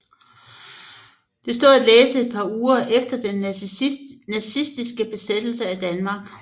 Det stod at læse et par uger efter den nazistiske besættelse af Danmark